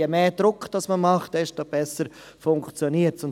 Je mehr Druck man macht, desto besser funktioniert es.